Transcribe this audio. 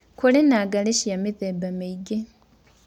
Kũrĩ na ngarĩ cĩa mĩtheba mĩĩngĩ.